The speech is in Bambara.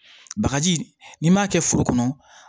Bagaji n'i m'a kɛ foro kɔnɔ